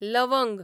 लवंग